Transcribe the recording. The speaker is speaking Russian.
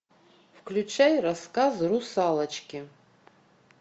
включай рассказы русалочки